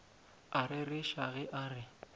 a rereša ge a re